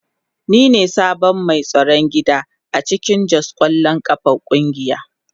Ni ne sabon mai tsaron gida a cikin Jos kwallon kafa kungiya.